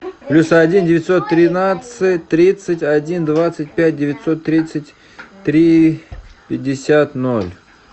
плюс один девятьсот тринадцать тридцать один двадцать пять девятьсот тридцать три пятьдесят ноль